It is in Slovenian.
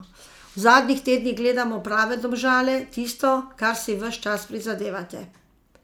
V zadnjih tednih gledamo prave Domžale, tisto, kar si ves čas prizadevate.